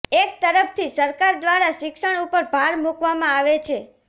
એક તરફથી સરકાર દ્વારા શિક્ષણ ઉપર ભાર મુકવામાં આવે છે